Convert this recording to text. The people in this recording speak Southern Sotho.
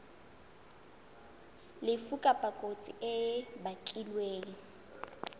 lefu kapa kotsi e bakilweng